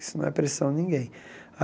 Isso não é pressão de ninguém.